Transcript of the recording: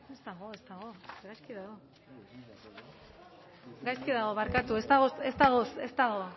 ez dago ez dago gaizki dago gaizki dago barkatu ez dago ez dago ez dago ez dago